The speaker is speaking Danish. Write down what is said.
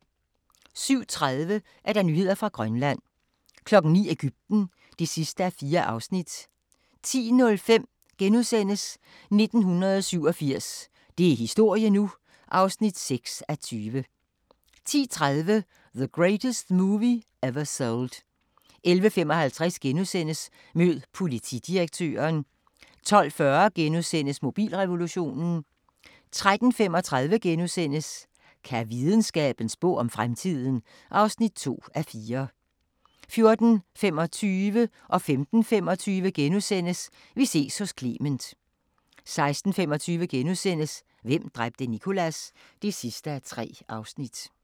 07:30: Nyheder fra Grønland 09:00: Egypten (4:4) 10:05: 1987 – det er historie nu! (6:20)* 10:30: The Greatest Movie Ever Sold 11:55: Mød politidirektøren * 12:40: Mobilrevolutionen * 13:35: Kan videnskaben spå om fremtiden? (2:4)* 14:25: Vi ses hos Clement * 15:25: Vi ses hos Clement * 16:25: Hvem dræbte Nicholas? (3:3)*